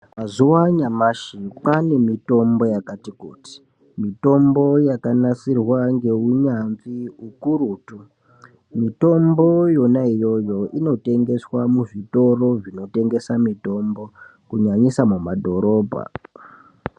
Mazuva anyamashi kwaanemitombo yakati kuti mitombo yakanasirwa ngeunyanzvi hukurutu. Mitombo yona iyoyo inotengeswa muzvitoro zvinotengesa mitombo kunyanyisa mumadhorobha.